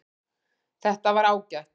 Þetta var ágætt